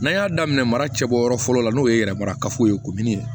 N'an y'a daminɛ mara cɛbɔ yɔrɔ fɔlɔ la n'o ye yɛrɛ marakafo ye kuruni ye